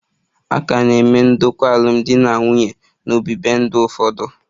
A ka na-eme ndokwa alụmdi na nwunye n'ọdịbendị ụfọdụ